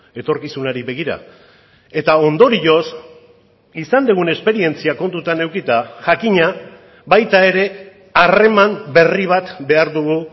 etorkizunari begira eta ondorioz izan dugun esperientzia kontutan edukita jakina baita ere harreman berri bat behar dugu